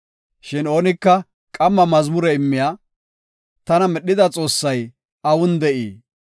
Shin oonika, ‘Qamma mazmure immiya, tana medhida Xoossay awun de7ii?